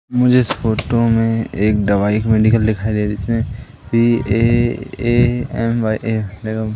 मुझे इस फोटो में एक दवाई मेडिकल दिखाई दे रही है जिसमें सी_ए_ए_एम_वाई_ए --